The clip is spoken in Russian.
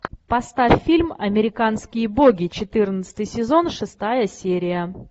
поставь фильм американские боги четырнадцатый сезон шестая серия